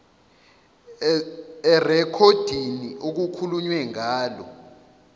erekhodini okukhulunywe ngalo